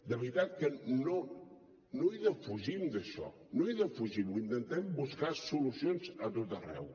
de veritat que no defugim això no ho defugim i intentem buscar solucions a tot arreu